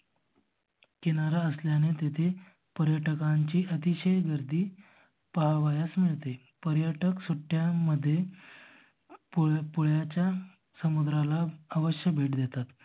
किनारा असल्याने तिथे पर्यटकांची अतिशय गर्दी पाहावयास मिळते. पर्यटक सुट्ट्या मध्ये पुळाच्या समुद्राला आवश्य भेट देतात.